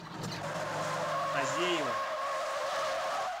азеева